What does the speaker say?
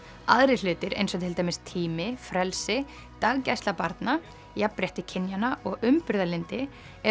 aðrir hlutir eins og til dæmis tími frelsi daggæsla barna jafnrétti kynjanna og umburðarlyndi eru